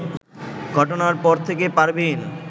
ঘটনার পর থেকে পারভীন